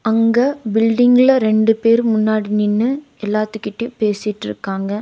இங்க பில்டிங்ல ரெண்டு பேர் முன்னாடி நின்னு எல்லாத்துகிட்டையு பேசிட்ருக்காங்க.